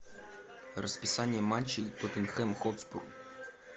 расписание матчей тоттенхэм хотспур